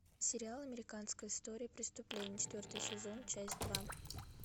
сериал американская история преступления четвертый сезон часть два